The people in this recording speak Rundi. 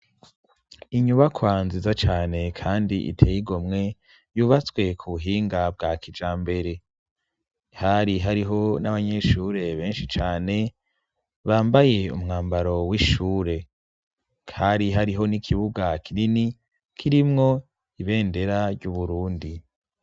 Inyubakwa nziza cane kandi iteye igomwe, yubatswe ku buhinga bwa kijambere. Hari hariho n'abanyeshure benshi cane, bambaye umwambaro w'ishure. Hari hariho n'ikibuga kinini, kirimwo ibendera ry'Uburundi.